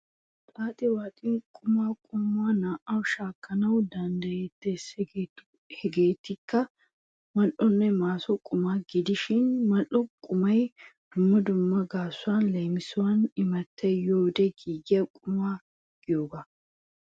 Xaaxi waaxin qumaa qommuwa naa"an shaakkanawu danddayettees. Hegeetikka mal"onne maso quma gidishin mal"o qumay dumma dumma gaasuwan leemisuwawu imattay yiyode giigiya quma giyogaa.